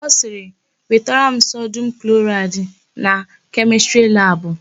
Ọ sịrị, "wetara m sodum kloraịdị na kemịstrị labụ"!